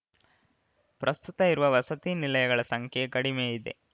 ಪ್ರಸ್ತುತ ಇರುವ ವಸತಿ ನಿಲಯಗಳ ಸಂಖ್ಯೆ ಕಡಿಮೆಯಿದೆ